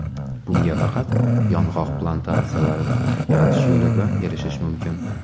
Bunga faqat yong‘oq plantatsiyalari yaratish yo‘li bilan erishish mumkin.